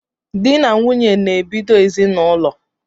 Dị na nwunye na-ebido ezinaụlọ